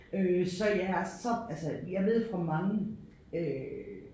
Øh så ja så altså jeg ved fra mange øh